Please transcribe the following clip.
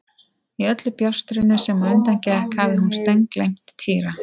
Í öllu bjástrinu sem á undan gekk hafði hún steingleymt Týra.